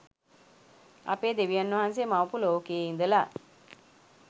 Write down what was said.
අපේ දෙවියන් වහන්සේ මවපු ලෝකයෙ ඉදලා